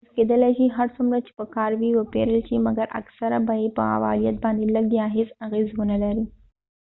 محصول کېدلای شي هر څومره چې په کار وي وپیرل شي مکر اکثره به یې په فعالیت باندي لږ یا هیڅ اغیز و نه لري